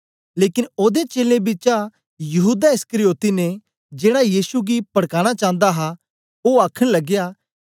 लेकन ओदे चेलें बिचा यहूदा इस्करियोती ने जेड़ा यीशु गी पड़काना चांदा हा ओ आखन लगया